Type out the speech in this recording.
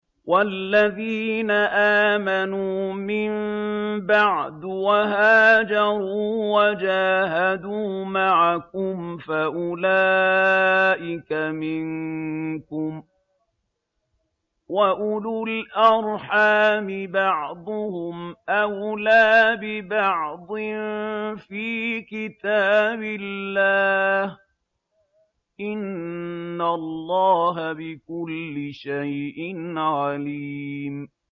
وَالَّذِينَ آمَنُوا مِن بَعْدُ وَهَاجَرُوا وَجَاهَدُوا مَعَكُمْ فَأُولَٰئِكَ مِنكُمْ ۚ وَأُولُو الْأَرْحَامِ بَعْضُهُمْ أَوْلَىٰ بِبَعْضٍ فِي كِتَابِ اللَّهِ ۗ إِنَّ اللَّهَ بِكُلِّ شَيْءٍ عَلِيمٌ